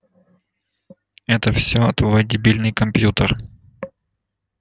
это все твой дебильный компьютер